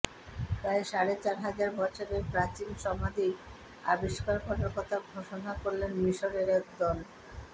প্রায় সাড়ে চার হাজার বছরের প্রাচীন সমাধি আবিষ্কার করার কথা ঘোষণা করলেন মিশরের এক দল